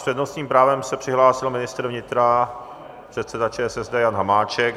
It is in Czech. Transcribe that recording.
S přednostním právem se přihlásil ministr vnitra, předseda ČSSD Jan Hamáček.